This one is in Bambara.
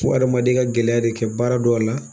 Fo adamaden ka gɛlɛya de kɛ baara dɔw la